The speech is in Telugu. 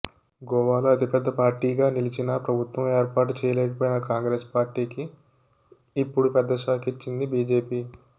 గోవాలో అతిపెద్ద పార్టీగా నిలిచినా ప్రభుత్వం ఏర్పాటు చేయలేకపోయిన కాంగ్రెస్ పార్టీకి ఇప్పుడు పెద్ద షాక్ ఇచ్చింది బీజేపీ